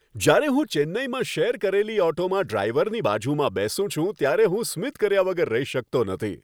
જ્યારે હું ચેન્નઈમાં શેર કરેલી ઓટોમાં બેસીને ડ્રાઈવરની બાજુમાં બેસું છું ત્યારે હું સ્મિત કર્યા વગર રહી શકતો નથી.